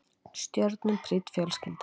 Stjörnum prýdd fjölskylda